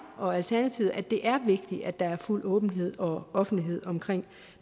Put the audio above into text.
og alternativet synes at det er vigtigt at der er fuld åbenhed og offentlighed omkring